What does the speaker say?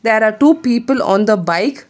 There are two people on the bike.